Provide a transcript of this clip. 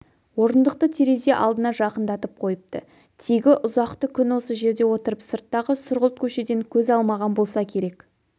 орындықты терезе алдына жақындатып қойыпты тегі ұзақты күн осы жерде отырып сырттағы сұрғылт көшеден көз алмаған болса керек